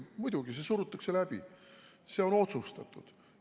Muidugi, see surutakse läbi, see on otsustatud.